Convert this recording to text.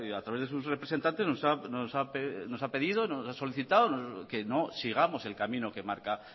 a través de sus representantes nos ha pedido nos ha solicitado que no sigamos el camino que marca